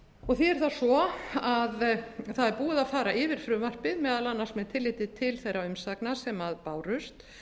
og því er það svo að það er búið að fara yfir frumvarpið meðal annars með tilliti til þeirra umsagna sem bárust